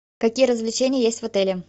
какие развлечения есть в отеле